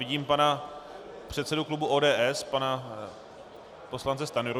Vidím pana předsedu klubu ODS pana poslance Stanjuru.